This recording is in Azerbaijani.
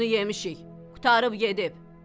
"Qoyunu yemişik, qurtarıb gedib."